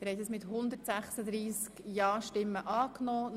Sie haben das Postulat angenommen.